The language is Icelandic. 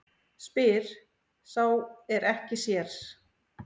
Spyr sá er ekki sér.